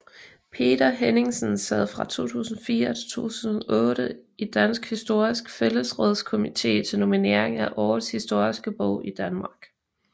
Peter Henningsen sad fra 2004 til 2008 i Dansk Historisk Fællesråds komite til nominering af årets historiske bog i Danmark